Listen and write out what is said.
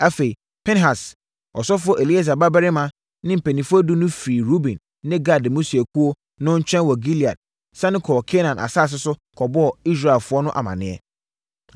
Afei, Pinehas, ɔsɔfoɔ Eleasa babarima ne mpanimfoɔ edu no firii Ruben ne Gad mmusuakuo no nkyɛn wɔ Gilead sane kɔɔ Kanaan asase so kɔbɔɔ Israelfoɔ no amaneɛ.